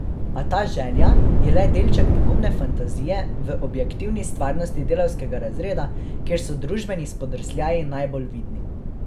A ta želja je le delček pogumne fantazije v objektivni stvarnosti delavskega razreda, kjer so družbeni spodrsljaji najbolj vidni.